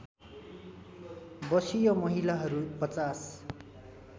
वषीय महिलाहरू ५०